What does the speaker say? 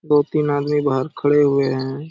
दो-तीन आदमी बाहर खड़े हुए हैं ।